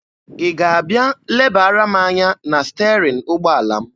Ị ga-abịa lebara m anya na sterin ụgbọala m?